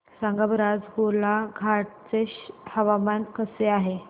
सांगा बरं आज गोलाघाट चे हवामान कसे आहे